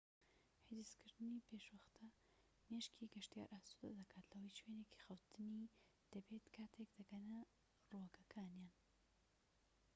حیجزکردنی پێشوەختە مێشكی گەشتیار ئاسودە دەکات لەوەی شوێنێکی خەوتنی دەبێت کاتێك دەگەنە ڕووگەکەیان